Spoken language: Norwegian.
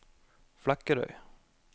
Flekkerøy